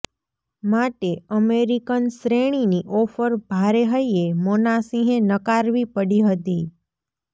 માટે અમેરિકન શ્રેણીની ઓફર ભારે હૈયે મોનાસિંહે નકારવી પડી હતી